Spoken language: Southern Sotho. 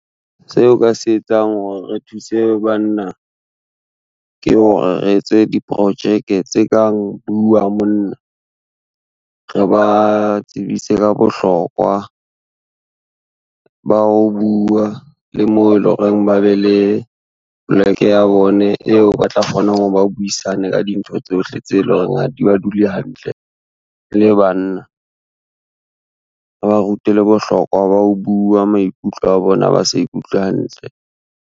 Seo o ka se etsang hore re thuse banna, ke hore re etse diprojeke tse kang Bua Monna. Re ba tsebise ka bohlokwa, ba ho bua le moo e le horeng ba be le poleke ya bone eo ba tla kgonang hore ba buisane ka dintho tsohle tseo e leng hore ha di ba dule hantle e le banna. Re ba rute le bohlokwa ba ho bua maikutlo a bona ha ba sa ikutlwe hantle.